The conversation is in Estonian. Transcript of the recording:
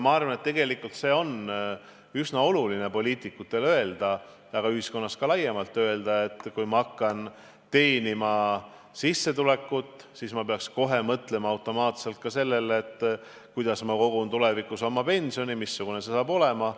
Ma arvan, et tegelikult on üsna oluline, et poliitikud ütleksid ja ka ühiskonnas laiemalt öeldaks, et kui ma hakkan teenima sissetulekut, siis ma pean kohe mõtlema automaatselt ka sellele, kuidas ma kogun tulevikuks oma pensioni, missugune see saab olema.